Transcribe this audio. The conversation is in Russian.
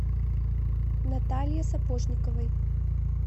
наталье сапожниковой